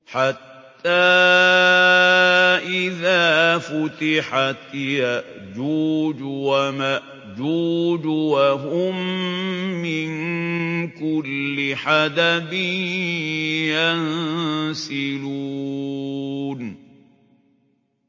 حَتَّىٰ إِذَا فُتِحَتْ يَأْجُوجُ وَمَأْجُوجُ وَهُم مِّن كُلِّ حَدَبٍ يَنسِلُونَ